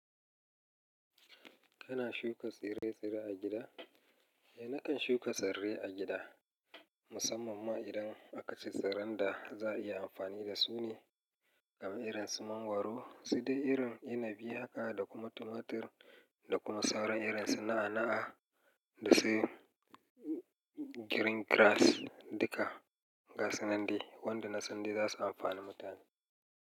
Kana shuka tsire-tsire a gida? Nakan shuka tsirrai a gida, musamman ma idan aka ce tsirran da za a iya amfani da su ne, kamar irin su mangwaro, sai dai irin inibi, haka da kuma tumatur da kuma sauran irin su na'a-na'a da sai green grass duka gasu nan dai wanda na san dai za su amfani mutane.